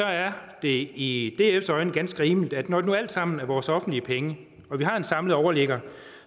er det i dfs øjne ganske rimeligt at når det nu alt sammen er vores offentlige penge og vi har en samlet overligger